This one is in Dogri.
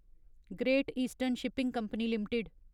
great eastern shipping company limited